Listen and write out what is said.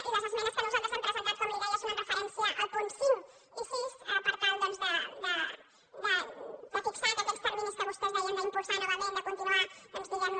i les esmenes que nosaltres hem presentat com li deia són amb referència als punts cinc i sis per tal doncs de fixar que aquests terminis que vostès deien d’impulsar novament de continuar diguem ne